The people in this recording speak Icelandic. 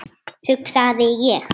hugsaði ég.